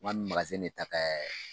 N k'an bi de ta kɛ